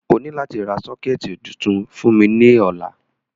O ni lati ra soketi tuntun fun mi ni ọla.